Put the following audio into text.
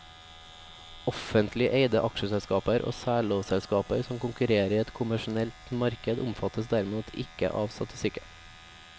Offentlig eide aksjeselskaper og særlovselskaper som konkurrerer i et kommersielt marked omfattes derimot ikke av statistikken.